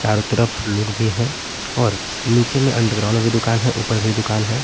चारों तरफ लोग भी हैं और नीचे में अंडरग्राउंड भी दुकान है ऊपर भी दुकान है।